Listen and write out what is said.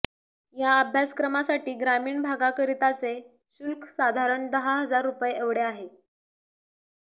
या अभ्यासक्रमासाठी ग्रामीण भागाकरिताचे शुल्क साधारण दहाहजार रुपये एवढे आहे